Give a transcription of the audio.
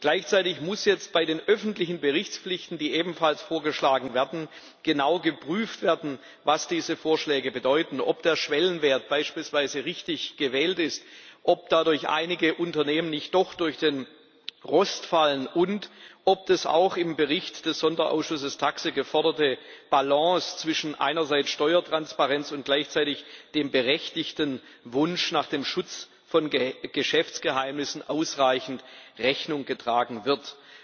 Gleichzeitig muss jetzt bei den öffentlichen Berichtspflichten, die ebenfalls vorgeschlagen werden, genau geprüft werden, was diese Vorschläge bedeuten, ob der Schwellenwert beispielsweise richtig gewählt ist, ob dadurch einige Unternehmen nicht doch durch den Rost fallen und ob der auch im Bericht des Sonderausschusses TAXE geforderten Balance zwischen einerseits Steuertransparenz und gleichzeitig dem berechtigten Wunsch nach dem Schutz von Geschäftsgeheimnissen ausreichend Rechnung getragen wird.